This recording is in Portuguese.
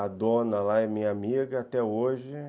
A dona lá é minha amiga até hoje.